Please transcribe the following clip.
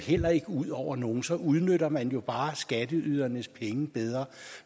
heller ikke ud over nogen så udnytter man bare skatteydernes penge bedre